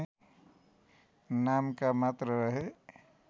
नामका मात्र रहे